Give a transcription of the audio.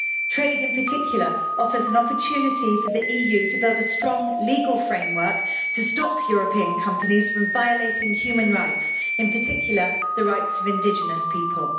Trade, in particular, offers an opportunity for the EU to build a strong legal framework to stop European companies from violating human rights, in particular the rights of indigenous people.